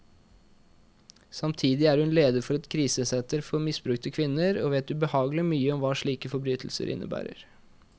Samtidig er hun leder for et krisesenter for misbrukte kvinner, og vet ubehagelig mye om hva slike forbrytelser innebærer.